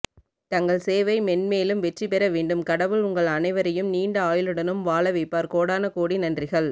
தங்கள் சேவை மென்மேலும் வெற்றி பெறவேண்டும் கடவுள் உங்கள் அணைவரையும் நீண்டஆயுளுடன் வாழவைப்பார் கோடான கோடி நன்றிகள்